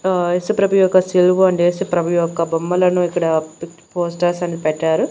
ఉ ఏసుప్రభు యొక్క శిలువ అండ్ ఏసుప్రభు యొక్క బొమ్మలను ఇక్కడ పెట్ పోస్తార్సను పెట్టారు.